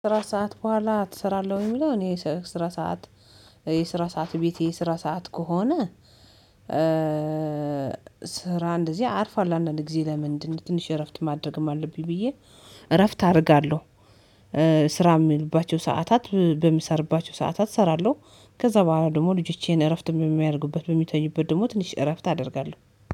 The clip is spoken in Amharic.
ስራ ሰዓት በኋላ ትሰራለሁ ወይ? የሚለው እኔ ስራ ሰዓት የስራ ሰዓት ቤቴ ስራ ሰዓት ከሆነ ስራ እንደዚህ አርፏለሁ አንዳንዴ ጊዜ ለምንድነው ትንሽ እረፍት ማድረግም አለብኝ ብዬ እረፍት አደርጋለሁ። ስራ የሚዉሉባቸው ሰዓታት በሚሰራባቸው ሰዓታት እሰራለሁ ከዛ በኋላ ደግሞ ልጆቼን እረፍት በሚያደርጉበት በሚተኙበት ደግሞ ትንሽ እረፍት አደርጋለሁ።